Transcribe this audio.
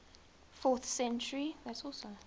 fourth century